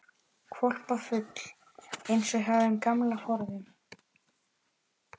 Hvolpafull, eins og hjá þeim gamla forðum.